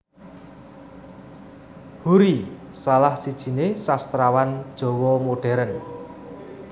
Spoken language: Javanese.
Hoery salah sijiné Sastrawan Jawa Modern